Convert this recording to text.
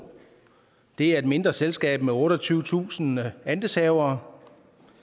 det er et mindre selskab med otteogtyvetusind andelshavere